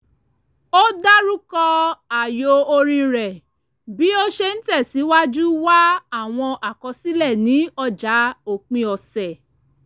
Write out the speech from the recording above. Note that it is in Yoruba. ó dárúkọ ààyò orin rẹ̀ bí ó ṣe ń tẹ̀sìwájú wá àwọn àkọsílẹ̀ ní ọjà òpin ọ̀sẹ̀